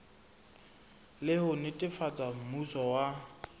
le ho netefatsa mmuso wa